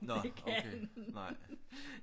Nå okay nej